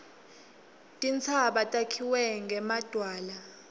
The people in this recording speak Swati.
tintsaba takhiwe ngemadwala